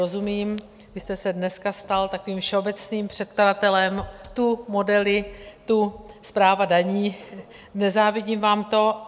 Rozumím, vy jste se dneska stal takovým všeobecným předkladatelem, tu modely, tu správa daní, nezávidím vám to.